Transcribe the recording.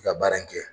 I ka baara in kɛ